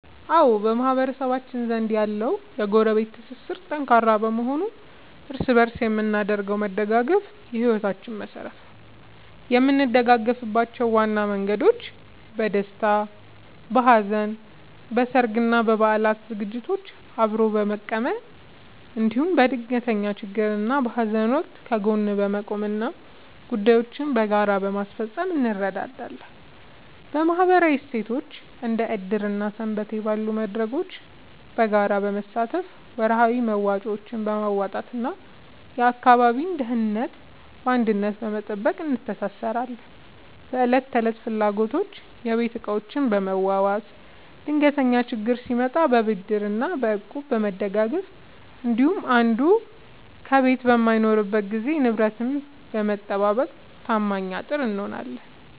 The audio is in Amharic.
አዎ፣ በማህበረሰባችን ዘንድ ያለው የጎረቤት ትስስር ጠንካራ በመሆኑ እርስ በእርስ የምናደርገው መደጋገፍ የሕይወታችን መሠረት ነው። የምንደጋገፍባቸው ዋና መንገዶች፦ በደስታና በሐዘን፦ በሠርግና በበዓላት ዝግጅቶችን አብሮ በመቀመም፣ እንዲሁም በድንገተኛ ችግርና በሐዘን ወቅት ከጎን በመቆምና ጉዳዮችን በጋራ በማስፈጸም እንረዳዳለን። በማኅበራዊ እሴቶች፦ እንደ ዕድር እና ሰንበቴ ባሉ መድረኮች በጋራ በመሳተፍ፣ ወርሃዊ መዋጮዎችን በማዋጣትና የአካባቢን ደህንነት በአንድነት በመጠበቅ እንተሳሰራለን። በዕለት ተዕለት ፍላጎቶች፦ የቤት ዕቃዎችን በመዋዋስ፣ ድንገተኛ ችግር ሲመጣ በብድርና በእቁብ በመደጋገፍ እንዲሁም አንዱ ከቤት በማይኖርበት ጊዜ ንብረትን በመጠባበቅ ታማኝ አጥር እንሆናለን።